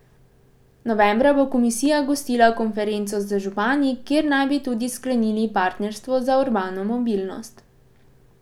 Novembra bo komisija gostila konferenco z župani, kjer naj bi tudi sklenili partnerstvo za urbano mobilnost.